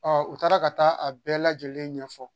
u taara ka taa a bɛɛ lajɛlen ɲɛfɔ